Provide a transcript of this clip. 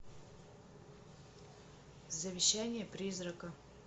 завещание призрака